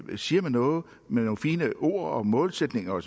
siger noget med nogle fine ord om målsætninger og